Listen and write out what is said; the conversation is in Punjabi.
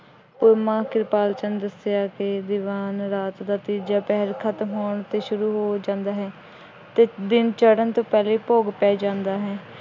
ਮਾਮਾ ਕਿਰਪਾਲ ਚੰਦ ਦੱਸਿਆ ਕਿ ਦੀਵਾਨ ਰਾਤ ਦਾ ਤੀਜਾ ਪਹਿਰ ਖਤਮ ਹੋਣ ਤੇ ਸ਼ੁਰੂ ਹੋ ਜਾਂਦਾ ਹੈ ਅਤੇ ਦਿਨ ਚੜ੍ਹਨ ਤੋਂ ਪਹਿਲੇ ਭੋਗ ਪੈ ਜਾਂਦਾ ਹੈ।